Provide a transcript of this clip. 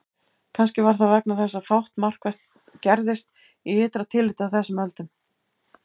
Kannski var það vegna þess að fátt markvert gerðist í ytra tilliti á þessum öldum.